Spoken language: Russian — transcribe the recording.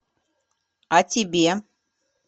а тебе